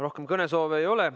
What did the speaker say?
Rohkem kõnesoove ei ole.